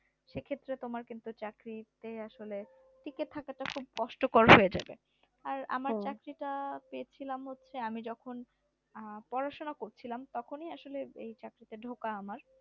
সে ক্ষেত্রে তোমার কিন্তু চাকরিটা আসলে টিকে থাকাটা খুব কষ্টকর হয়ে যাবে আর আমার চাকরিটা পেয়েছিলাম হচ্ছে আমি যখন পড়াশোনা করছিলাম তখনই আসলে এই চাকরিতে ঢোকা আমার